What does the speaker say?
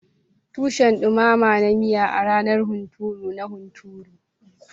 Tushen dumama na miya a ranar hunturu na hunturu.